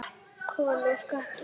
Kol og skattur